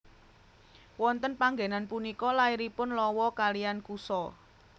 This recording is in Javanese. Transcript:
Wonten panggenan punika lairipun Lawa kaliyan Kusa